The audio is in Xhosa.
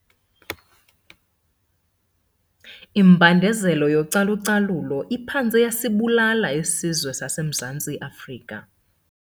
Imbandezelo yocalu-calulo iphantse yasibulala isizwe saseMzantsi Afrika.